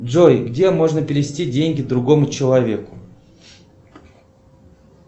джой где можно перевести деньги другому человеку